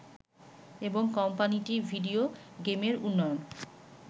এবং কোম্পানিটি ভিডিও গেমের উন্নয়ন